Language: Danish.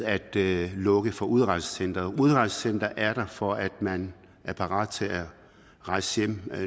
at lukke for udrejsecentret udrejsecentret er der for at man er parat til at rejse hjem